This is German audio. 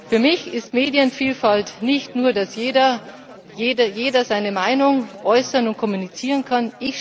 Für mich ist Medienvielfalt nicht nur, dass jeder seine Meinung äußern und kommunizieren kann.